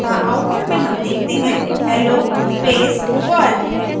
अतः output में हम देखते हैं hello space world